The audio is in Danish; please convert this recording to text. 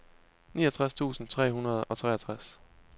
niogtres tusind tre hundrede og treogtres